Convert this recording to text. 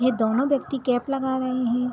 यह दोनों व्यक्ति कैप लगा रहे है।